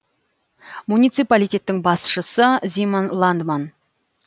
муниципалитеттің басшысы зимон ландман